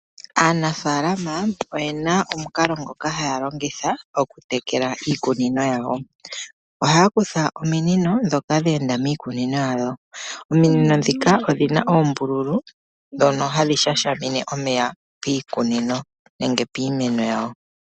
Aanafaalama oyena omukalo ngoka haya longitha oku tekela iikunino yawo, ohaya kutha ominino ndhoka dhe enda miikunino yawo, ominino ndhika odhina oombululu, ndhono hadhi shashamine omeya piikunino nenge piimeno yawo.